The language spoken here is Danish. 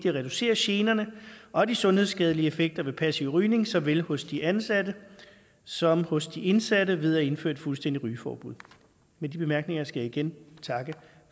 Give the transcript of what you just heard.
at reducere generne og de sundhedsskadelige effekter ved passiv rygning såvel hos de ansatte som hos de indsatte ved at indføre et fuldstændigt rygeforbud med de bemærkninger skal jeg igen takke